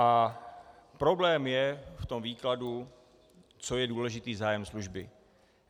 A problém je v tom výkladu, co je důležitý zájem služby.